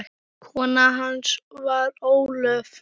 Kona hans var Ólöf